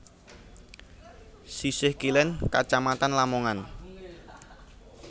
Sisih kilen Kacamatan Lamongan